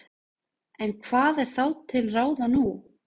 En hvað er þá til ráða nú?